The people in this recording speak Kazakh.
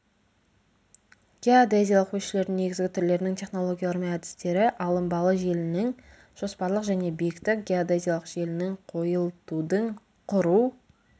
геодезиялық өлшеулердің негізгі түрлерінің технологиялары мен әдістері алынбалы желінің жоспарлық және биіктік геодезиялық желінің қойылтудың құру